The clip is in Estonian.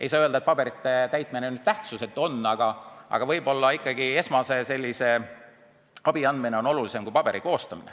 Ei saa öelda, et paberite täitmine tähtsusetu on, aga esmase abi andmine on ikkagi olulisem kui paberi koostamine.